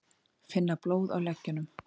Finna blóð á leggjunum.